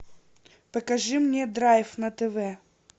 покажи мне драйв на тв